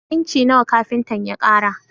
Inci nawa kafintan ya ƙara?